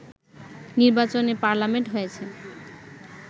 নির্বাচনে পার্লামেন্ট হয়েছে